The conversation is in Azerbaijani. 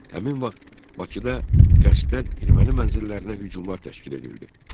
Həmin vaxt Bakıda qəsdən erməni mənzillərinə hücumlar təşkil edildi.